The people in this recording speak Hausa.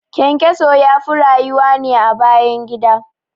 ƘyanƘyaso yafi rayuwa ne a bayan gida